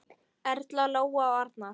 Erla, Lóa og Arnar.